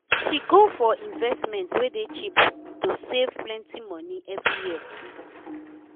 she go for investment wey dey cheap to save plenti money every year.